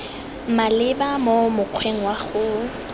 maleba mo mokgweng wa go